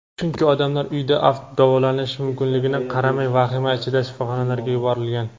chunki odamlar uyda davolanishi mumkinligiga qaramay vahima ichida shifoxonalarga yuborilgan.